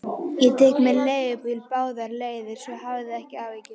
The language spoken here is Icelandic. Ég tek mér leigubíl báðar leiðir, svo hafðu ekki áhyggjur.